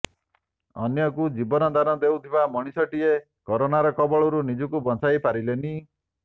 ଅନ୍ୟକୁ ଜୀବନ ଦାନ ଦେଉଥିବା ମଣିଷଟିଏ କରୋନାର କବଳରୁ ନିଜକୁ ବଂଚାଇ ପାରିଲେନି